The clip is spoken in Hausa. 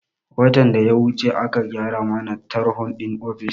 Watan da ya wuce aka gyara mana tarho din ofis